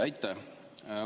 Aitäh!